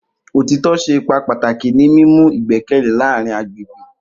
Otitọ ṣe ipa pataki ni mimu igbẹkẹle laarin agbegbe.